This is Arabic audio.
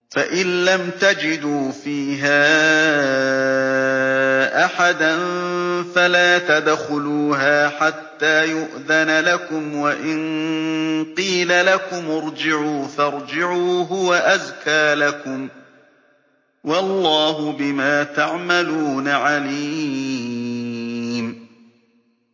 فَإِن لَّمْ تَجِدُوا فِيهَا أَحَدًا فَلَا تَدْخُلُوهَا حَتَّىٰ يُؤْذَنَ لَكُمْ ۖ وَإِن قِيلَ لَكُمُ ارْجِعُوا فَارْجِعُوا ۖ هُوَ أَزْكَىٰ لَكُمْ ۚ وَاللَّهُ بِمَا تَعْمَلُونَ عَلِيمٌ